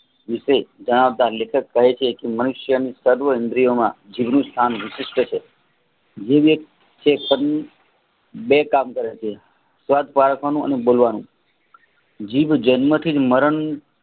વિશે જણાવતા લેખક કહે છે મનુષ્યની સર્વ ઇન્દ્રિયોમાં જીભ સ્થાન વિશિષ્ઠ છે બે કામ કરે છે સ્વાદ આપવાનું અને બોલવાનું જીવ જન્મ થી મરણ